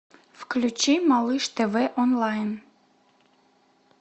включи малыш тв онлайн